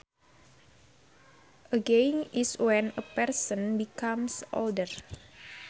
Ageing is when a person becomes older